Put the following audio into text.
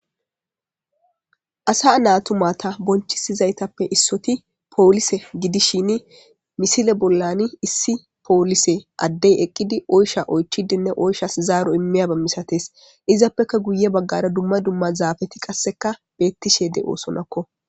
asa naatu mata bonchisizaytappe issoti poolise gidishin misile bollan issi poolise addey eqqidi oysha oychidenne oyshas zaaro immiyaba misates izappeka guye baggara dumma dumma zaafeti qasseka beettishee de'oosonakko